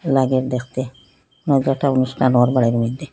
লাগের দেখতে নয়তো একটা অনুষ্ঠান নর্মালের মইধ্যে--